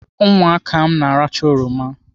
Ụmụaka m na-arachaa oroma.